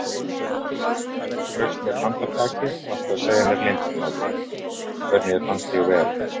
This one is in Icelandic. Ef þú straukst mér handarbakið varstu að segja mér leyndarmálið: hvernig þér fannst ég vera.